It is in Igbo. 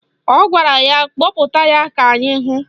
Ọ gwara ya kpọpụta ya ka anyị hụ